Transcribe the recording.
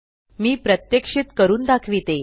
मी प्रत्यक्षित करून दाखविते